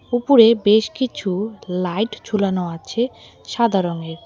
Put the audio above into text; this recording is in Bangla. উপরে বেশ কিছু লাইট ঝুলানো আছে সাদা রঙের।